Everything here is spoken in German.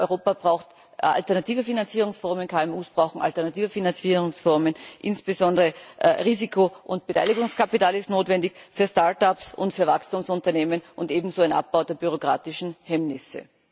Europa braucht alternative Finanzierungsformen, KMU brauchen alternative Finanzierungsformen, insbesondere Risiko und Beteiligungskapital ist notwendig für startups und für Wachstumsunternehmen, ebenso ein Abbau der bürokratischen Hemmnisse.